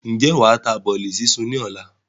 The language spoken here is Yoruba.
Ǹjẹ́ wàá ta bọ́lì súnsun ni ọ̀la?